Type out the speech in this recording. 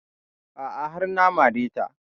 A'a har na mare ta